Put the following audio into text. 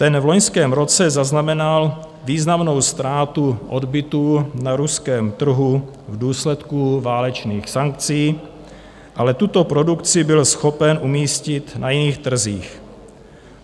Ten v loňském roce zaznamenal významnou ztrátu odbytu na ruském trhu v důsledku válečných sankcí, ale tuto produkci byl schopen umístit na jiných trzích.